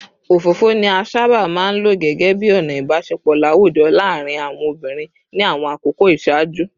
Òfófó ni a sábà máa ń lò gẹ́gẹ́ bí ọ̀nà ìbáṣepọ̀ láwùjọ láàárín àwọn obìnrin ní àwọn àkókò ìṣáájú